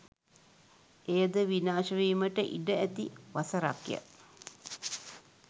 එයද විනාශ වීමට ඉඩ ඇති වසරක්ය.